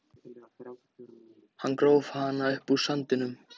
Hann gróf hana upp úr sandinum!